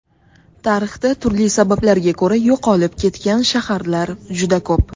Tarixda turli sabablarga ko‘ra yo‘qolib ketgan shaharlar juda ko‘p.